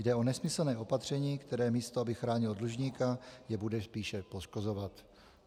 Jde o nesmyslné opatření, které místo aby chránilo dlužníka, jej bude spíše poškozovat.